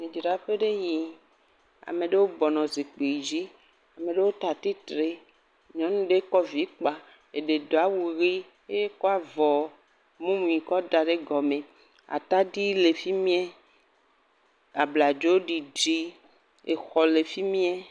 Nuɖaƒe nye yee ameɖewo bɔnɔ zikpui dzi. Meɖewo lea atitre. Nyɔnu ɖe kɔ vi kpa eɖe doa wu ʋi he kɔa vɔ mumu kɔ da ɖe gɔme. Atadi le fi mea. Abladzo ɖiɖi exɔ le fi mea.